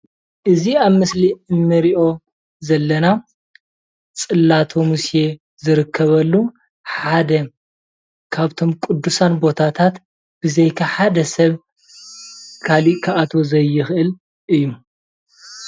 እዚ አብ ምስሊ ንሪኦ ዘለና ፅላተ ሙሴ ዝርከበሉ ሓደ ካብቶም ቅዱሳን ቦታታት ብዘይካ ሓደ ሰብ ካሊእ ክአትዎ ዘይክእል እዩ።